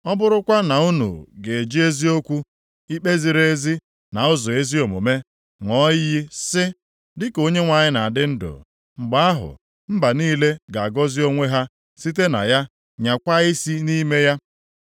ọ bụrụkwa na unu ga-eji eziokwu, ikpe ziri ezi na ụzọ ezi omume ṅụọ iyi sị, ‘Dịka Onyenwe anyị na-adị ndụ,’ mgbe ahụ mba niile ga-agọzi onwe ha site na ya nyakwaa isi nʼime ya.”